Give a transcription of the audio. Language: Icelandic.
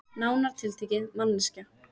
Nánar tiltekið manneskja.